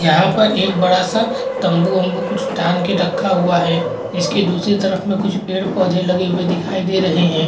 यहाँ पे एक बड़ा सा तम्बू वम्बु कुछ डाल के रखा हुआ है इसके दूसरे तरफ कुछ पेड़ पौधे लगे हुए दिखाई दे रहे हैं।